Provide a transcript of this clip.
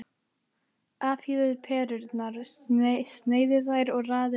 Afhýðið perurnar, sneiðið þær og raðið yfir salatið.